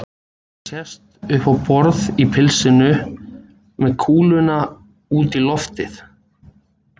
Ég sest upp á borð í pilsinu, með kúluna út í loftið.